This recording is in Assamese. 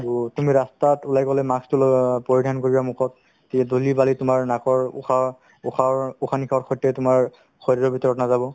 to তুমি ৰাস্তাত ওলাই গ'লে mask তো ল অ পৰিধান কৰিবা মুখত ধূলি-বালি তোমাৰ নাকৰ উশাহ~ উশাহৰ~ উশাহ-নিশাসৰ সৈতে তোমাৰ শৰীৰৰ ভিতৰত নাযাব